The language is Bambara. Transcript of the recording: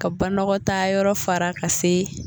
Ka banɔgɔtaa yɔrɔ fara ka se.